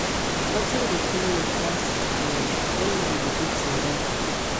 nothing dey pain me pass um when man dey beat im wife